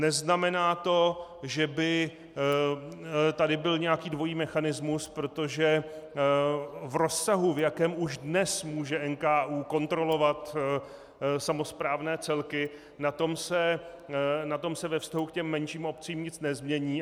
Neznamená to, že by tady byl nějaký dvojí mechanismus, protože v rozsahu, v jakém už dnes může NKÚ kontrolovat samosprávné celky, na tom se ve vztahu k těm menším obcím nic nezmění.